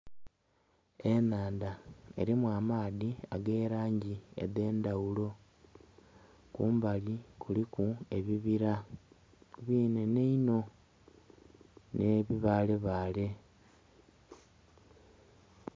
Ennhandha elimu amaadhi ag'elangi edh'endhaghulo. Kumbali kuliku ebibila binhenhe inho, nh'ebibaalebaale.